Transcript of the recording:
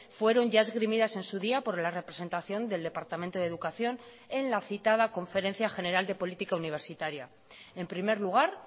fueron ya esgrimidas en su día por la representación del departamento de educación en la citada conferencia general de política universitaria en primer lugar